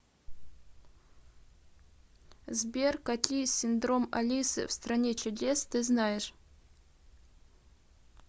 сбер какие синдром алисы в стране чудес ты знаешь